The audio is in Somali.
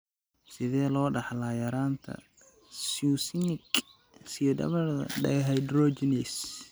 Sidee loo dhaxlaa yaraanta succinic semialdehyde dehydrogenase?